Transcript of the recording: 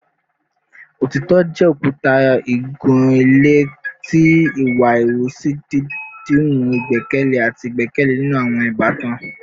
Otitọ jẹ okuta igun-ile ti iwa ihuwasi, didimu igbẹkẹle ati igbẹkẹle ninu awọn ibatan